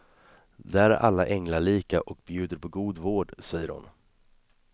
Där är alla änglalika och bjuder på god vård, säger hon.